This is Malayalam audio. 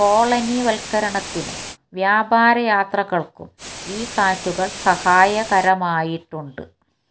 കൊളനിവൽക്കരണത്തിനും വ്യാപാര യാത്രകൾക്കും ഈ കാറ്റുകൾ സഹായകരമായിട്ടുണ്ട്